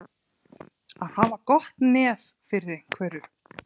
Að hafa gott nef fyrir einhverju